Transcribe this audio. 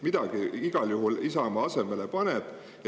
Midagi Isamaa igal juhul asemele paneb.